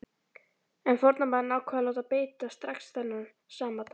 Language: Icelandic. En formaðurinn ákvað að láta beita strax þennan sama dag.